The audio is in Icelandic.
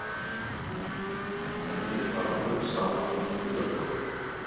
Henni var alveg sama um tugabrotin.